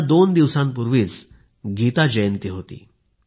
आता दोन दिवसांपूर्वीच गीता जयंती होती